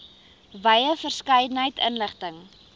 wye verskeidenheid inligting